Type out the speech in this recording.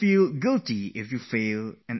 Nor will you be arrogant of your success